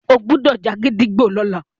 ìwo gbódò já gídígbò lọla!